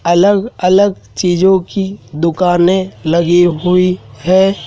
अलग अलग चीजों की दुकाने लगी हुई है।